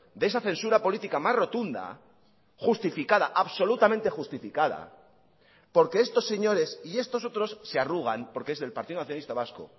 de esa censura política más rotunda justificada absolutamente justificada porque estos señores y estos otros se arrugan porque es del partido nacionalista vasco